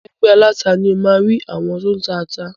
Ẹgbẹ́ aláta ni o máa rí àwọn tó tá ata.